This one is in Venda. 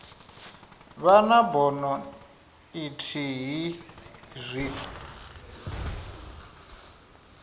vha na bono ithihi zwi